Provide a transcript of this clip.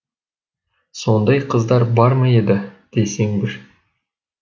сондай қыздар бар ма еді десең бір